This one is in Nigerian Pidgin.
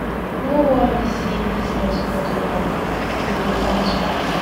No worry sey business no dey move, e go bounce back.